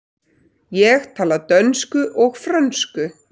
Ég tala dönsku og frönsku.